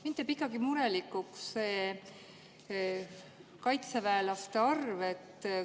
Mind teeb ikkagi murelikuks see kaitseväelaste arv.